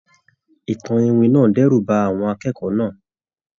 Ìtàn iwin náà dẹ́rù ba àwọn akẹ́kọ̀ọ́ náà.